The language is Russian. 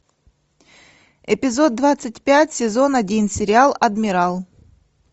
эпизод двадцать пять сезон один сериал адмирал